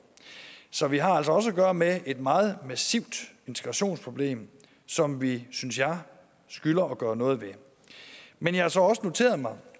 så vi har altså også at gøre med et meget massivt integrationsproblem som vi synes jeg skylder at gøre noget ved men jeg har så også noteret mig